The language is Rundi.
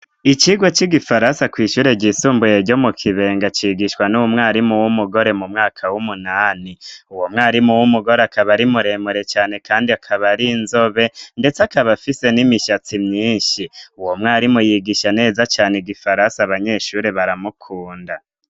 icigwa c'igifaransa kw'ishure ry'isumbuye ryo mu kibenga cigishwa n'umwarimu w'umugore mumwaka w'umunani uwo mwarimu w'umugore akaba ari muremure cane kandi akaba ari inzobe ndetse akaba afise n'imishatsi myinshi uwo mwarimu yigisha neza cane igifaransa abanyeshuri baramukunda